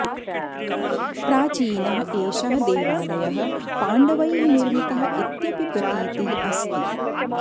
प्राचीनः एषः देवालयः पाण्डवैः निर्मितः इत्यपि प्रतीतिः अस्ति